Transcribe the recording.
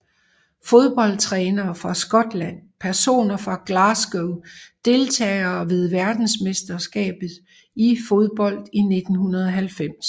Fodboldtrænere fra Skotland Personer fra Glasgow Deltagere ved verdensmesterskabet i fodbold 1990